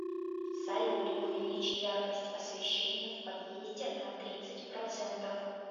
салют увеличь яркость освещения в подъезде на тридцать процентов